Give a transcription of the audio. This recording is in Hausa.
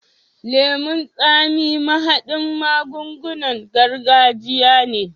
Lemon tsami mahaɗin magungunan gargajiya ne.